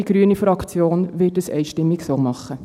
Die grüne Fraktion wird es einstimmig so tun.